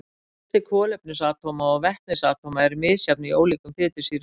en fjöldi kolefnisatóma og vetnisatóma er misjafn í ólíkum fitusýrum